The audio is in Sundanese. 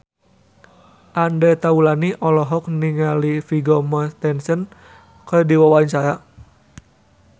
Andre Taulany olohok ningali Vigo Mortensen keur diwawancara